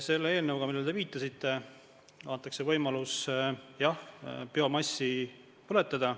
Selle eelnõuga, millele te viitasite, antakse võimalus, jah, biomassi põletada.